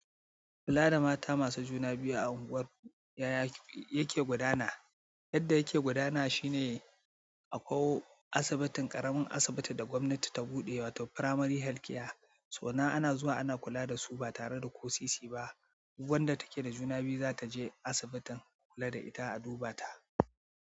Kula da mata masu juna biyu a unguwar yaya yake gudana. Yadda yake gudana shine akwai asibitin ƙaramin asibiti da gwamnati ta buɗe wato primary health care. To nan ana zuwa ana kula da su ba tare da ko sisi ba wanda take da juna biyu za ta je asibitin, kula da ita, a duba ta.